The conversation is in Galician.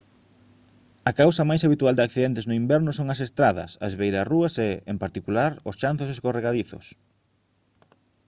a causa máis habitual de accidentes no inverno son as estradas as beirarrúas e en particular os chanzos escorregadizos